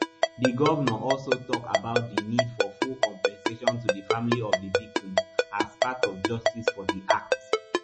di governor also tok about di need for full compensation to di families of di victims as part of justice for di act